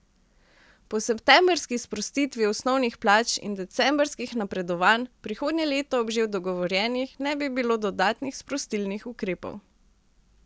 Po septembrski sprostitvi osnovnih plač in decembrskih napredovanj prihodnje leto ob že dogovorjenih ne bi bilo dodatnih sprostilnih ukrepov.